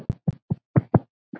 Þín Salvör.